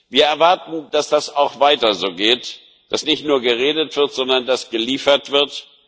Wir erwarten, dass das auch weiter so geht, dass nicht nur geredet wird, sondern dass geliefert wird.